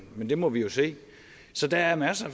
det må vi jo se så der er masser